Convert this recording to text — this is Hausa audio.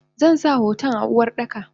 Zansa hoton a Uwardaka.